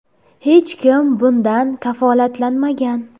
Hech kim bundan kafolatlanmagan.